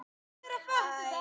Tóti er ekkert feitur.